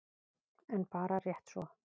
En bara rétt svo.